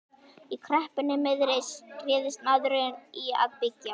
Í kreppunni miðri réðist maðurinn í að byggja.